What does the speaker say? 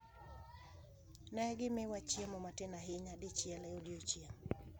Ne gimiwa chiemo matin ahinya, dichiel e odiechieng’.